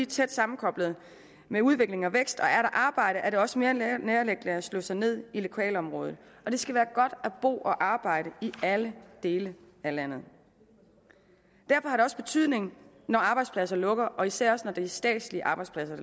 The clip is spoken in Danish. tæt sammenkoblet med udvikling og vækst og er der arbejde er det også mere nærliggende at slå sig ned i lokalområdet det skal være godt at bo og arbejde i alle dele af landet derfor har det også betydning når arbejdspladser lukker og især også når det er statslige arbejdspladser